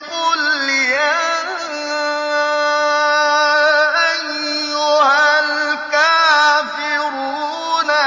قُلْ يَا أَيُّهَا الْكَافِرُونَ